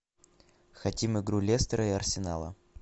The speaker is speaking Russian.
хотим игру лестера и арсенала